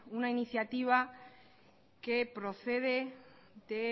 una iniciativa que procede de